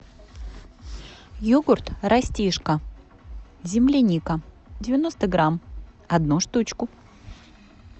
йогурт растишка земляника девяносто грамм одну штучку